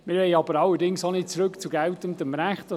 Wir wollen aber auch nicht zum geltenden Recht zurück.